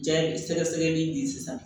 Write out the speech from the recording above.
Jaabi sɛgɛsɛgɛli in de sisan